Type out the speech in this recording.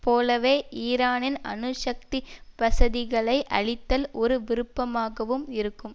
போலவே ஈரானின் அணு சக்தி வசதிகளை அழித்தல் ஒரு விருப்பமாகவும் இருக்கும்